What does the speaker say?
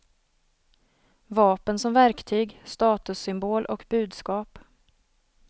Vapen som verktyg, statussymbol och budskap.